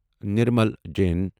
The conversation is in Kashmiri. نرمل جٔٮ۪ن